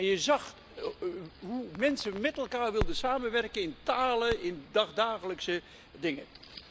Je zag hoe mensen met elkaar wilden samenwerken in talen, in dagelijkse dingen.